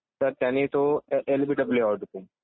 तर त्यांनी तो एलबीडब्लू आऊट होते